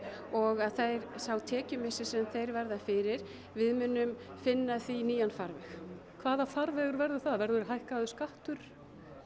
og sá tekjumissir sem þeir verða fyrir við munum finna því nýjan farveg hvaða farvegur verður það verður hækkaður skattur